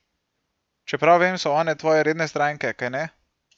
Če prav vem, so one tvoje redne stranke, kajne?